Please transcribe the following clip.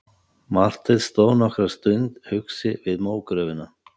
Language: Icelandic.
Marteinn stóð nokkra stund hugsi við mógröfina.